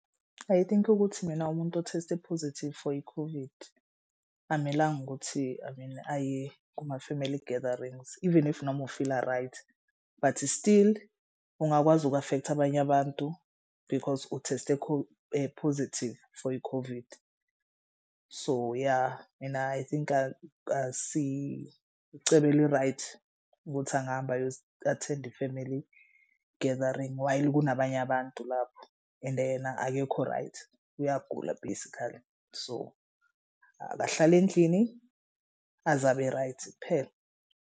I think ukuthi mina umuntu o-test-e positive for i-COVID akumelanga ukuthi I mean aye kuma-family gatherings even if noma ufila right, bhathi still ungakwazi uku-afektha abanye abantu because utheste positive for i-COVID. So yah mina I think asi icebo eli-right ukuthi angahambi ayo attend i-family gathering. While kunabanye abantu lapho ende yena akekho right uyagula basically so akahlale endlini aze abe right kuphela.